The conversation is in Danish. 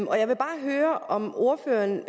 og jeg vil bare høre om ordføreren